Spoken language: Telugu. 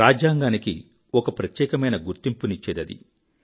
రాజ్యాంగానికి ఒక ప్రత్యేక గుర్తింపునిచ్చేదది